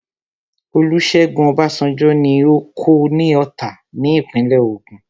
Olúṣẹ́gun Ọbásanjọ́ ní oko ní Ọ̀tà ní ìpínlẹ̀ Ògùn